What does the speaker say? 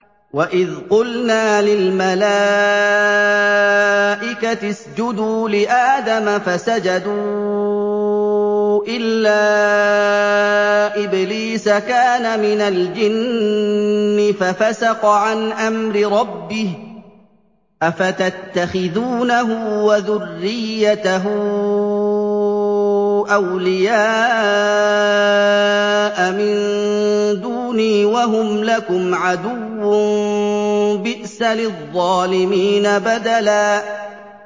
وَإِذْ قُلْنَا لِلْمَلَائِكَةِ اسْجُدُوا لِآدَمَ فَسَجَدُوا إِلَّا إِبْلِيسَ كَانَ مِنَ الْجِنِّ فَفَسَقَ عَنْ أَمْرِ رَبِّهِ ۗ أَفَتَتَّخِذُونَهُ وَذُرِّيَّتَهُ أَوْلِيَاءَ مِن دُونِي وَهُمْ لَكُمْ عَدُوٌّ ۚ بِئْسَ لِلظَّالِمِينَ بَدَلًا